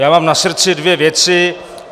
Já mám na srdci dvě věci.